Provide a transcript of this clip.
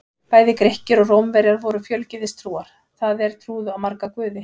Bæði Grikkir og Rómverjar voru fjölgyðistrúar, það er trúðu á marga guði.